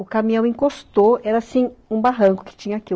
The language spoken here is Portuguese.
O caminhão encostou, era assim, um barranco que tinha aqui.